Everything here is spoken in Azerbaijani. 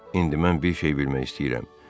İndi mən bir şey bilmək istəyirəm: